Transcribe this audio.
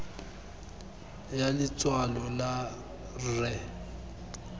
ya letshwalo la r e